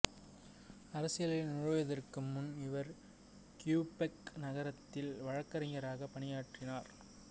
அரசியலில் நுழைவதற்கு முன் இவர் கியூபெக் நகரத்தில் வழக்கறிஞராகப் பணியாற்றினார்